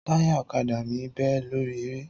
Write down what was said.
Táyà ọ̀kadà mi bẹ́ lórí eré